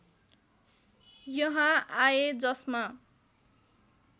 यहाँ आए जसमा